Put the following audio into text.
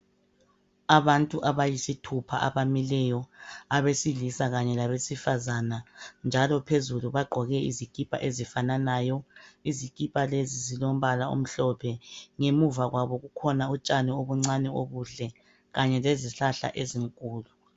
Abantu abayisithupha abamileyo abesilisa kanye labesifazana njalo phezulu bagqoke izikipa ezifananayo. Izikipa lezi zilombala omhlophe ngemuva kwabo kukhona utshani obuncani obuhle kanye lezihlahla ezinkulu.